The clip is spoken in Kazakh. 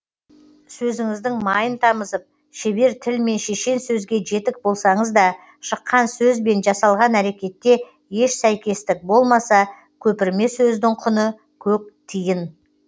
сөзіңіздің майын тамызып шебер тіл мен шешен сөзге жетік болсаңыз да шыққан сөз бен жасалған әрекетте еш сәйкестік болмаса көпірме сөздің құны көк тиын